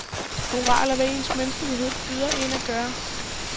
Moral er, hvad ens menneskelighed byder en at gøre.